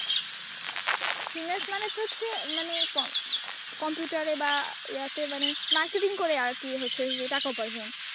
Finance মানে তো হচ্ছে মানে কম কম্পিউটারে বা ইয়াতে মানে, marketing করে আর কি হচ্ছে যে টাকা উপার্জন।